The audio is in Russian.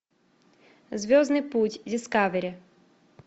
звездный путь дискавери